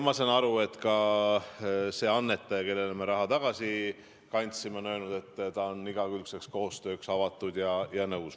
Ma saan aru, et ka see annetaja, kellele me raha tagasi kandsime, on öelnud, et ta on igakülgseks koostööks avatud ja sellega nõus.